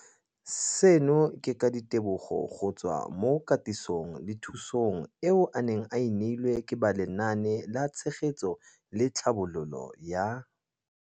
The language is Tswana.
Seno ke ka ditebogo go tswa mo katisong le thu song eo a e neilweng ke ba Lenaane la Tshegetso le Tlhabololo ya